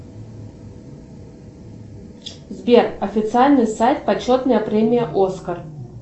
сбер официальный сайт почетная премия оскар